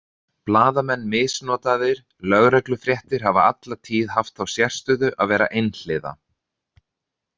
Blaðamenn misnotaðir Lögreglufréttir hafa alla tíð haft þá sérstöðu að vera einhliða.